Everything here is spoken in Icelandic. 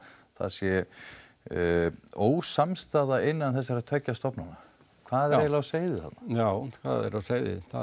það sé ósamstaða innan þessara tveggja stofnana hvað er eiginlega á seyði þarna já hvað er á seyði það